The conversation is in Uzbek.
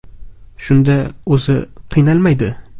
Shunda o‘zi qiynalmaydi.